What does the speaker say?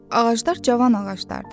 Ağaclar cavan ağaclardır.